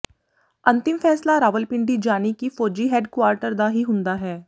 ਅੰਤਿਮ ਫ਼ੈਸਲਾ ਰਾਵਲਪਿੰਡੀ ਜਾਨਿ ਕਿ ਫੌਜੀ ਹੈੱਡਕੁਆਰਟਰ ਦਾ ਹੀ ਹੁੰਦਾ ਹੈ